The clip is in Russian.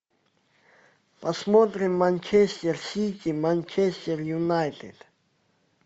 посмотрим манчестер сити манчестер юнайтед